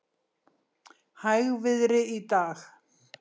Hægviðri í dag